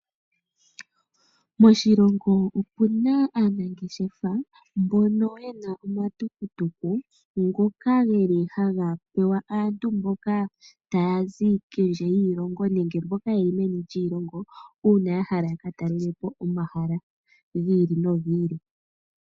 Moshilongo omuna aanangeshefa mbono yena omatukutuku ngoka geli haga pewa aantu mboka taya zi kondje yiilongo nenge mboka yeli meni lyiilongo, uuna ya hala yaka talele po omahala gi ili nogi ili.